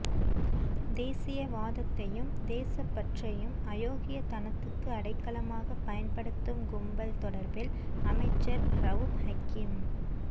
தேசியவாதத்தையும் தேசப்பற்றையும் அயோக்கியத்தனத்துக்கு அடைக்கலமாக பயன்படுத்தும் கும்பல் தொடர்பில் அமைச்சர் ரவூப் ஹக்கீம்